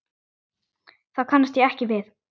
Það kannast ég ekki við.